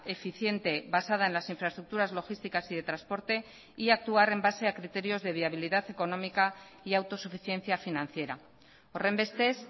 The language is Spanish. eficiente basada en las infraestructuras logísticas y de transporte y actuar en base a criterios de viabilidad económica y autosuficiencia financiera horrenbestez